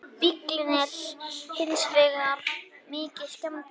Nú þegar er í bílum ýmiss konar sjálfvirkur búnaður sem kenna má við sjálfstýringu.